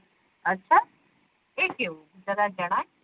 અછ એ કેવું જેરા જણાય